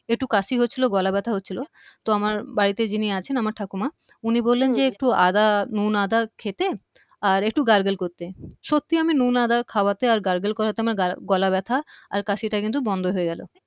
একটু কাশি হচ্ছিলো একটু গলা ব্যাথা হচ্ছিলো তো আমার বাড়িতে যিনি আছেন আমার ঠাকুমা উনি বললেন যে একটু আদা নুন আদা খেতে আর একটু gurgle করতে সত্যি আমি নুন আদা খাওয়াতে আর gurgle করাতে আমার গলা ব্যাথা আর কাশিটা কিন্তু বন্ধ হয়ে গেলো